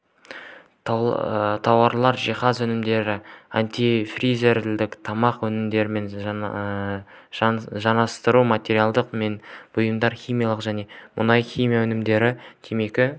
тауарлар жиһаз өнімдері антифриздер тамақ өнімдерімен жанасатын материалдар мен бұйымдар химиялық және мұнай-химия өнімдері темекі